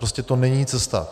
Prostě to není cesta.